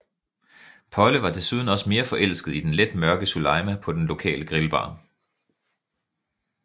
Polle var desuden også mere forelsket i den let mørke Suleima på den lokale grillbar